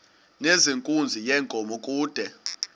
nezenkunzi yenkomo kude